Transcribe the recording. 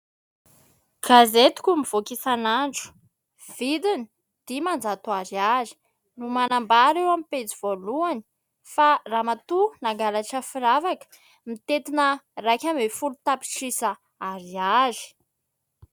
Gazaetiko mivoaka isan'andro ; vidiny : dimanjato ariary ; no manambara eo amin'ny pejy voalohany fa ramatoa nangalatra firavaka mitetina iraika ambin'ny folo tapitrisa ariary.